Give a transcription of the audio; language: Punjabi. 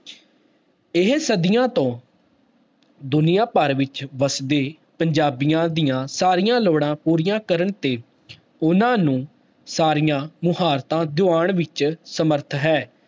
ਇਹ ਸਦੀਆਂ ਤੋਂ ਦੁਨੀਆਂ ਭਰ ਵਿੱਚ ਵਸਦੇ ਪੰਜਾਬੀਆਂ ਦੀਆਂ ਸਾਰੀਆਂ ਲੋੜਾਂ ਪੂਰੀਆਂ ਕਰਨ ਤੇ ਉਹਨਾਂ ਨੂੰ ਸਾਰੀਆਂ ਮੁਹਾਰਤਾਂ ਦਿਵਾਉਣ ਵਿੱਚ ਸਮਰਥ ਹੈ।